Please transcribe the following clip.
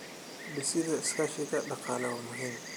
Dhisida iskaashiga dhaqaale waa muhiim.